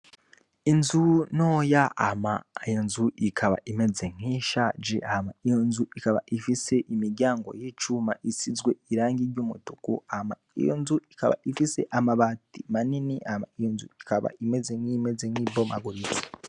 Inzu noya ama ayo nzu ikaba imeze nk'ishaje hama iyo nzu ikaba ifise imiryango y'icuma isizwe irangi ry'umutuku ama iyo nzu ikaba ifise amabati manini ama iyo nzu ikaba imeze nk'imeze nk'ibomaguriza.